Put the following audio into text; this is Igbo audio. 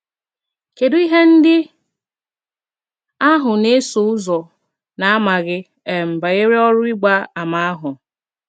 Kedụ ihe ndị ahụ na - eso ụzọ na - amaghị um banyere ọrụ ịgba àmà ahụ?